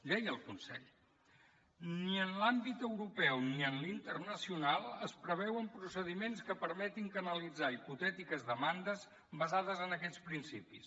deia el consell ni en l’àmbit europeu ni en l’internacional es preveuen procediments que permetin canalitzar hipotètiques demandes basades en aquests principis